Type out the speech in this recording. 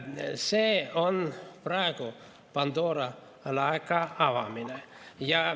See on praegu Pandora laeka avamine.